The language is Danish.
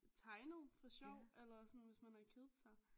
Tegnet for sjov eller sådan hvis man har kedet sig